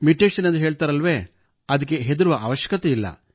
mutation ಎಂದು ಹೇಳುತ್ತಾರಲ್ಲವೇ ಅದಕ್ಕೆ ಹೆದರುವ ಅವಶ್ಯಕತೆಯಿಲ್ಲ